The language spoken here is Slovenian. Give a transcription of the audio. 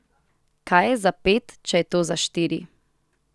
Kaj je za pet, če je to za štiri?